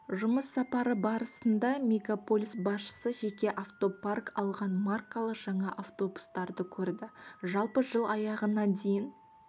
жұмыс сапары барысында мегаполис басшысы жеке автопарк алған маркалы жаңа автобустарды көрді жалпы жыл аяғына дейін